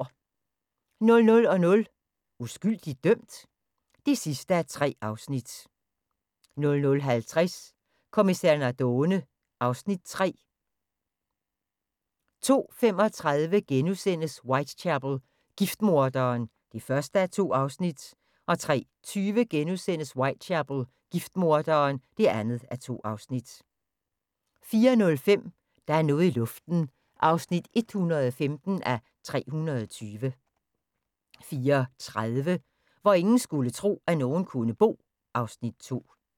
00:00: Uskyldigt dømt? (3:3) 00:50: Kommissær Nardone (Afs. 3) 02:35: Whitechapel: Giftmorderen (1:2)* 03:20: Whitechapel: Giftmorderen (2:2)* 04:05: Der er noget i luften (115:320) 04:30: Hvor ingen skulle tro, at nogen kunne bo (Afs. 2)